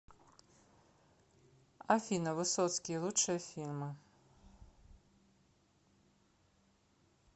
афина высоцкии лучшие фильмы